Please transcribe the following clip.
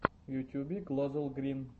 в ютьюбе глозелл грин